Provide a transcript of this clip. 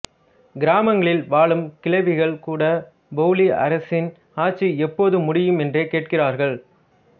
கிராமங்களில் வாழும் கிழவிகள் கூடப் பொபிலி அரசரின் ஆட்சி எப்போது முடியும் என்று கேட்கிறார்கள்